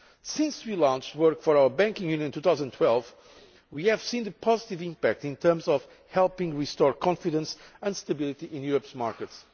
Since we started work on our banking union in 2012, we have seen the positive impact in terms of helping restore confidence and stability in Europe's markets.